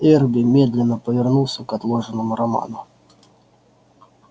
эрби медленно повернулся к отложенному роману